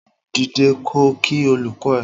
Dìde ko kí olùkọ ẹ!